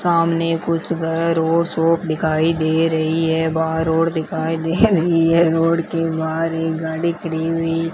सामने कुछ घर और शॉप दिखाई दे रही है वह रोड दिखाई दे रही है रोड के बाहर एक गाड़ी खड़ी हुई--